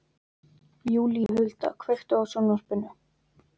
Júlíhuld, kveiktu á sjónvarpinu.